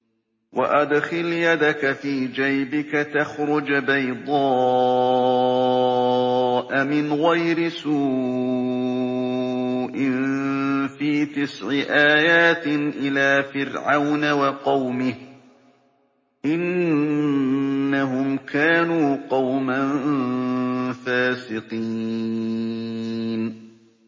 وَأَدْخِلْ يَدَكَ فِي جَيْبِكَ تَخْرُجْ بَيْضَاءَ مِنْ غَيْرِ سُوءٍ ۖ فِي تِسْعِ آيَاتٍ إِلَىٰ فِرْعَوْنَ وَقَوْمِهِ ۚ إِنَّهُمْ كَانُوا قَوْمًا فَاسِقِينَ